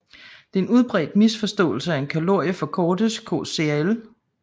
Det er en udbredt misforståelse at en kalorie forkortes kcal